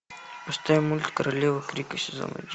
поставь мультик королева крика сезон один